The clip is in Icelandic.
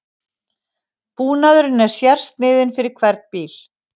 Búnaðurinn er sérsniðinn fyrir hvern bíl